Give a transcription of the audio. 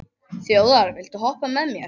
Þjóðar, viltu hoppa með mér?